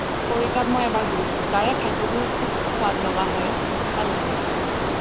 খৰিকাত মই এবাৰ গৈছো তাৰে খাদ্যবোৰও খুব সুৱাদ লগা হয় ভাল লাগে খাই